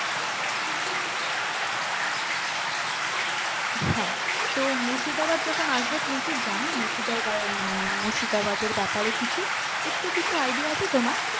হ্যাঁ তো মুর্শিদাবাদ যখন আসবে তুমি কি জানো মুর্শিদাবাদ মানে মুর্শিদাবাদের ব্যাপারে কিছু একটু কিছু idea আছে তোমার?